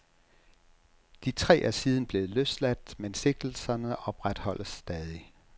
De tre er siden blevet løsladt, men sigtelserne opretholdes stadig.